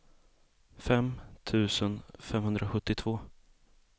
fem tusen femhundrasjuttiotvå